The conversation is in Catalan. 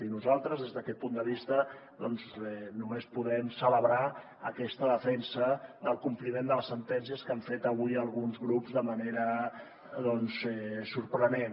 i nosaltres des d’aquest punt de vista doncs només podem celebrar aquesta defensa del compliment de les sentències que han fet avui alguns grups de manera doncs sorprenent